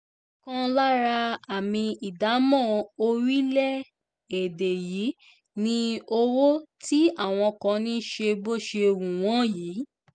ọ̀kan lára àmì ìdámọ̀ orílẹ̀-èdè yìí ni owó tí àwọn kan ń ṣe bó ṣe wù wọ́n yìí